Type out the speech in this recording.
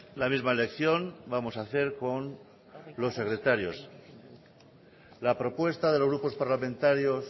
la misma elección vamos a hacer con los secretarios la propuesta de los grupos parlamentarios